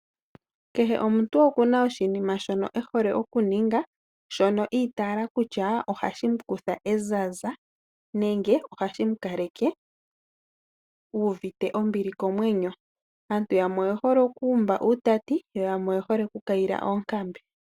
Kehe omuntu okuna oshinima shono ehole okuninga. Shono itaala kutya ohashi mukutha ezaza nenge ohashi mu kaleke u uvite ombili komwenyo. Aantu yamwe oye hole okuumba uutati yo yamwe oye hole oku kayila oonkambe.